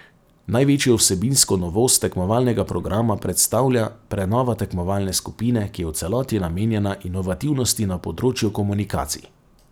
Največjo vsebinsko novost tekmovalnega programa predstavlja prenova tekmovalne skupine, ki je v celoti namenjena inovativnosti na področju komunikacij.